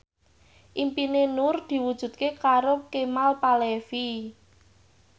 impine Nur diwujudke karo Kemal Palevi